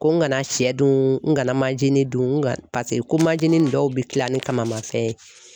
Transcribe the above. Ko n kana shɛ dun n kana manzini dun n ka paseke ko manzini nin dɔw bɛ kila ni kamama fɛn ye.